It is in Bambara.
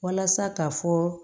Walasa ka fɔ